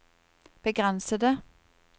begrensede